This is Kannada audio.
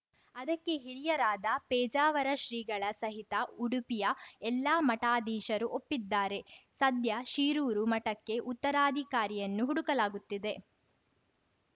ಅದಕ್ಕೆ ಹಿರಿಯರಾದ ಪೇಜಾವರ ಶ್ರೀಗಳ ಸಹಿತ ಉಡುಪಿಯ ಎಲ್ಲಾ ಮಠಾಧೀಶರು ಒಪ್ಪಿದ್ದಾರೆ ಸದ್ಯ ಶಿರೂರು ಮಠಕ್ಕೆ ಉತ್ತರಾಧಿಕಾರಿಯನ್ನು ಹುಡುಕಲಾಗುತ್ತಿದೆ